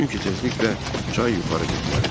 Çünki tezliklə çay yuxarı getməlidir.